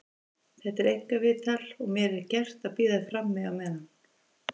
Þetta er einkaviðtal og mér er gert að bíða frammi á meðan.